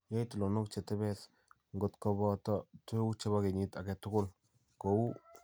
Yai tuloonook che tebees, ngot kobooto tuguuk che po kenyiit age tugul, ko uu: